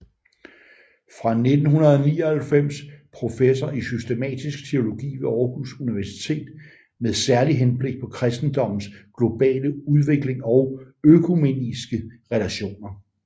Fra 1999 professor i systematisk teologi ved Aarhus Universitet med særlig henblik på kristendommens globale udvikling og økumeniske relationer